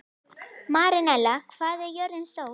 Marinella, hvað er jörðin stór?